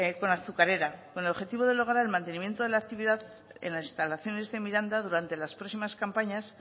con la azucarera con el objetivo de lograr el mantenimiento de la actividad en las instalaciones de miranda durante las próximas campañas